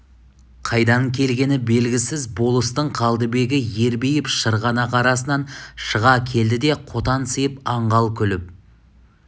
қайдан келгені белгісіз болыстың қалдыбегі ербиіп шырғанақ арасынан шыға келді де қотансиып аңғал күліп